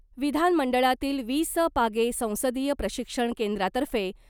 विधानमंडळातील वि स पागे संसदीय प्रशिक्षण केंद्रातर्फे